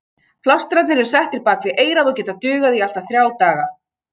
Plástrarnir eru settir bak við eyrað og geta dugað í allt að þrjá daga.